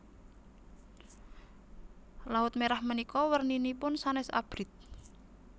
Laut Merah menika werninipun sanes abrit